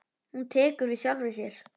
Hún tekur við sjálfri sér.